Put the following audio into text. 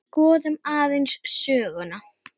Skoðum aðeins söguna.